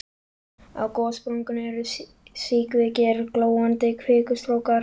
Á gossprungunni eru síkvikir glóandi kvikustrókar.